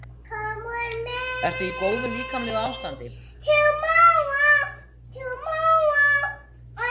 Ertu í góðu líkamlegu ástandi?